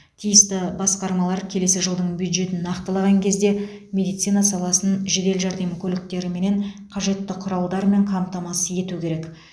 тиісті басқармалар келесі жылдың бюджетін нақтылаған кезде медицина саласын жедел жәрдем көліктеріменен қажетті құралдармен қамтамасыз ету керек